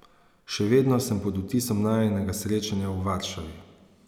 Še vedno sem pod vtisom najinega srečanja v Varšavi.